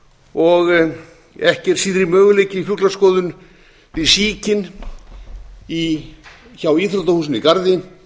ekki er síðri möguleikinn á fuglaskoðun við síkin hjá íþróttahúsinu